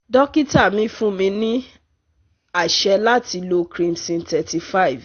Dọkita mi fun mi ni aṣẹ lati lo krimson thirty five